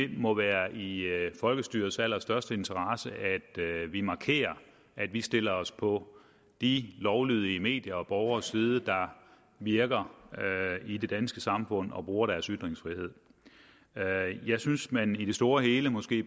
må være i folkestyrets allerstørste interesse at vi markerer at vi stiller os på de lovlydige mediers og borgeres side der virker i det danske samfund og bruger deres ytringsfrihed jeg synes at man i det store og hele måske